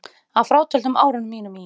Að frátöldum árunum mínum í